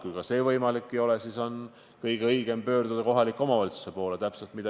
Kui ka see võimalik ei ole, siis on kõige õigem pöörduda kohaliku omavalitsuse poole.